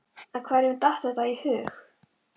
En hverjum datt þetta í hug?